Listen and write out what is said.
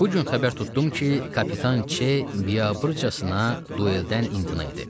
Bu gün xəbər tutdum ki, kapitan C biabırçasına dueldən imtina edib.